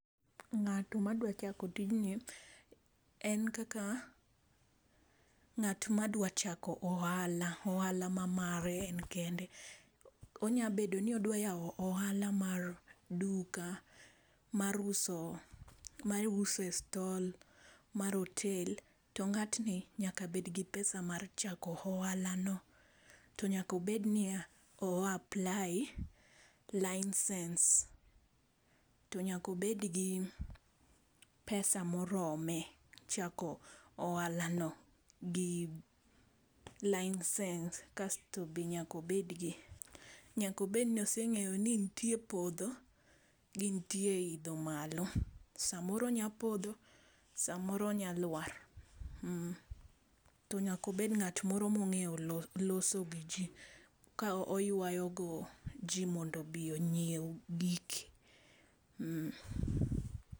Ng'ato ma dwa chako tijni en kaka ng'ato ma dwachako ohala, ohala ma mare en kende .Onya bedo ni odwa yawo ohala mar duka, mar uso ma iuse e stall mar hotel to ng'at ni nyaka bed gi pesa mar chako ohala no, to nyaka obed ni ya o apply license. To nyaka obed gi pesa ma orome chako ohala no gi license kasto nyaka obed gi nyaka obed ni oseng'eyo ni nitie podho gi nitie idho malo. Sa moro onya podho sa moro onya lwar to nyaka obed ng'at moro ma ong'e loso gi ji ka oywayo go ji mondo obi ongiew giki.